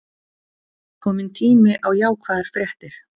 Kominn tími á jákvæðar fréttir